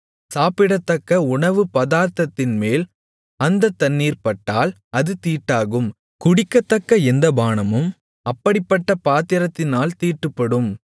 சாப்பிடத்தக்க உணவுபதார்த்தத்தின்மேல் அந்தத் தண்ணீர் பட்டால் அது தீட்டாகும் குடிக்கத்தக்க எந்தப்பானமும் அப்படிப்பட்ட பாத்திரத்தினால் தீட்டுப்படும்